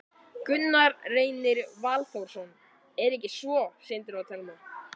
Gunnar Reynir Valþórsson: Er ekki svo, Sindri og Telma?